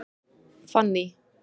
Fanný